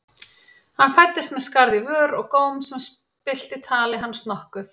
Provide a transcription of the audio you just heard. Hann fæddist með skarð í vör og góm sem spillti tali hans nokkuð.